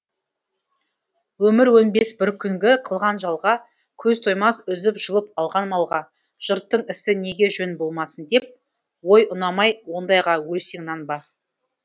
өмір өнбес бір күнгі қылған жалға көз тоймас үзіп жұлып алған малға жұрттың ісі неге жөн болмасын деп ой ұнамай ондайға өлсең нанба